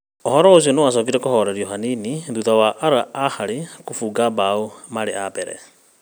Ũhoro ũcio nĩwacokire kũhorerio hanini thutha wa Al Ahyl kũbunga mbaũ marĩ a mbere